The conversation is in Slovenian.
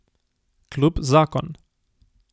Klub Zakon.